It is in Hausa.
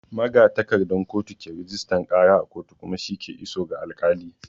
Magatakardan kotu ke rajistan ƙara a kotu kuma shi ke iso ga alƙali.